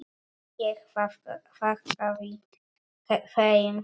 Ég þakkaði þeim fyrir.